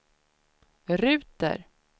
ruter